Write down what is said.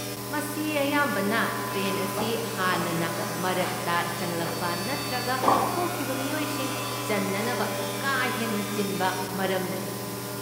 ꯃꯁꯤ ꯑꯌꯥꯝꯕꯅ ꯇ꯭ꯔꯦꯟ ꯑꯁꯤ ꯍꯥꯟꯅꯅ ꯃꯔꯛꯇ ꯆꯪꯂꯛꯄ ꯅꯠꯇ꯭ꯔꯒ ꯊꯣꯛꯈꯤꯕ ꯃꯤꯑꯣꯏꯁꯤꯡ ꯆꯟꯅꯅꯕ ꯀꯥ ꯍꯦꯟꯅ ꯆꯤꯟꯕ ꯃꯔꯝꯅꯅꯤ꯫